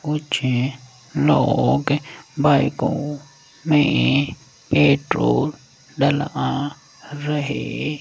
कुछ लोग बाईकों में पेट्रोल डलआ रहे --